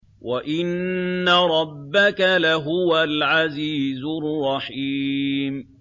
وَإِنَّ رَبَّكَ لَهُوَ الْعَزِيزُ الرَّحِيمُ